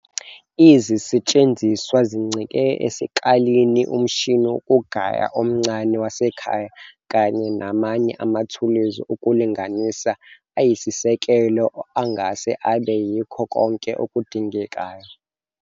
Izisetshenziswa zincike esikalini, umshini wokugaya omncane wasekhaya kanye namanye amathuluzi okulinganisa ayisisekelo angase abe yikho konke okudingekayo.